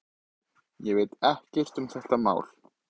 Ég veit ekkert um þetta mál.